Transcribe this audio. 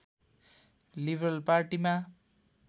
liberal पार्टीमा